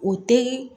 O te